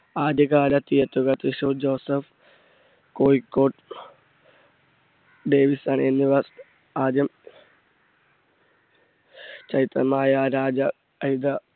ആദ്യ കാല theatre കൾ തൃശൂർ ജോസഫ്, കോഴിക്കോട് ഡേവിഡ്സൺ എന്നിവ ആദ്യം